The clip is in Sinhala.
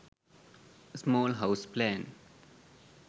small house plan